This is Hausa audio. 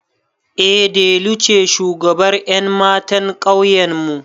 Eh delu ce shugabar ƴan matan ƙauyenmu